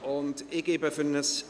Ich gebe für ein …